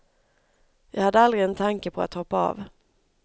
Jag hade aldrig en tanke på att hoppa av.